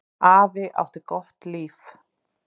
Afi átti gott líf.